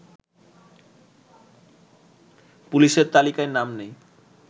পুলিশের তালিকায় নাম নেই